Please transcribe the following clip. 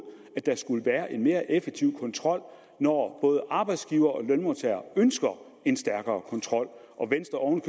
at der skulle være en mere effektiv kontrol når både arbejdsgivere og lønmodtagere ønsker en stærkere kontrol og venstre oven